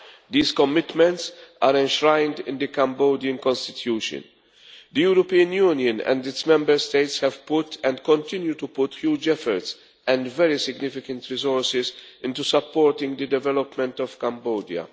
These commitments are enshrined in the Cambodian Constitution. The European Union and its Member States have put, and continue to put, huge efforts and very significant resources into supporting the development of Cambodia.